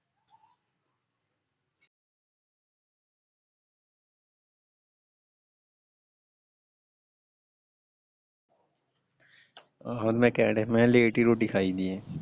ਆਹੋ ਮੈਂ ਕਹਿਣ ਡੇਆ ਸੀ ਮੈਂ late ਹੀ ਰੋਟੀ ਖਾਇਦੀ ਆ।